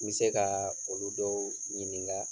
N be se kaa olu dɔw ɲininka